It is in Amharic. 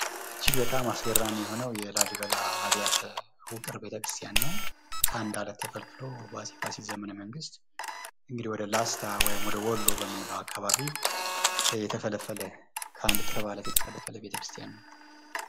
እጅግ በጣም አስገራሚ የሆነው የላሊበላ አብያተ ውቅር ቤተክርስቲያን ነው። ከአንድ አለት ተፈልፍሎ በአፄ ፋሲል ዘመነ መንግስት ወደ ላስታ ወደወልሎ በምንለው አካባቢ ከአንድ ጥርብ አለት የተፈለፈለ ቤተክርስቲያን ነው።